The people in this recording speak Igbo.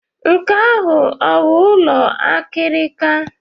Nke ahụ ọ bụ ụlọ akịrịka?